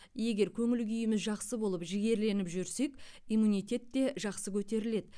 егер көңіл күйіміз жақсы болып жігерленіп жүрсек иммунитет те жақсы көтеріледі